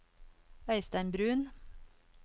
Øystein Bruun